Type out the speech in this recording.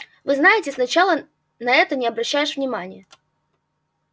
вы знаете сначала на это не обращаешь внимания